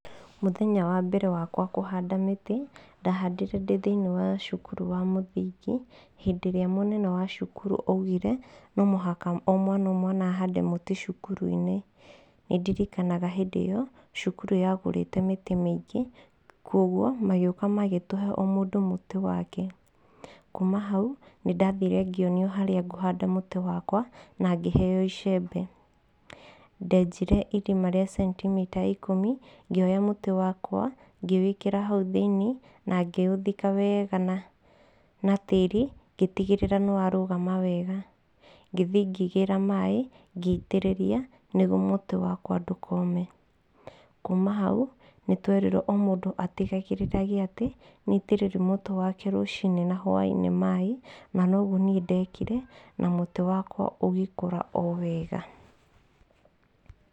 Mŭthenya wa mbere wakwa kŭhanda mĩtĩ, ndahandire ndĩ thĩinĩ wa cŭkŭrŭ wa mŭthingi, hĩndĩ ĩrĩa mŭnene wa cŭkŭrŭ aŭgire, no mŭhaka o mwana o mwana ahade mŭtĩ cŭkŭrŭinĩ, nĩdirikana hĩndĩ ĩyo cŭkŭrŭ yagŭrite mĩtĩ mĩingĩ, kŭogŭo magĩŭka magĩtŭhe o mŭndŭ mŭtĩ wake, kuma hau, nĩdathire ngĩonio harĩa ngŭhada mŭtĩ wakwa na ngĩheo icembe ndenjire irima rĩa centimita ikŭmi ngĩoya mŭtĩ wakwa ngĩwĩkĩra haŭ thĩini na ngĩŭthika wega na tĩĩri ngĩtigĩrĩra nĩwarŭgama wega ngĩthi ngĩgĩra maĩ ngĩotĩrĩria nĩgŭ mŭtĩ wakwa ndŭkoome. Kŭŭma haŭ nĩtwerirwo o mŭndŭ atigĩrĩre atĩ nĩaitĩrĩri mŭtĩ wake rŭciinĩ na hwainĩ maĩ na nogŭo niĩ dekire na mŭtĩ wakwa ŭgĩkŭra o wega.